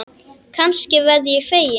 Kannski verð ég fegin.